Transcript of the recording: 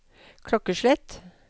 klokkeslett